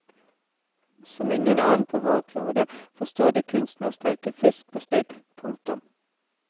Som ingen annen på vår klode forstår de kunsten å steike fisk på spidd. punktum